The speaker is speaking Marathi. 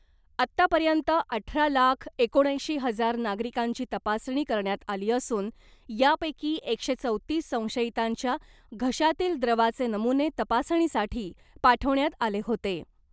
आत्तापर्यंत अठरा लाख एकोणऐंशी हजार नागरिकांची तपासणी करण्यात आली असून यापैकी एकशे चौतीस संशयितांच्या घशातील द्रवाचे नमुने तपासणीसाठी पाठवण्यात आले होते .